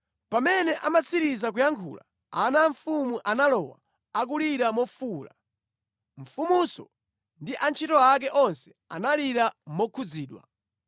Pamene amatsiriza kuyankhula, ana a mfumu analowa, akulira mofuwula. Mfumunso ndi antchito ake onse analira mokhudzidwa.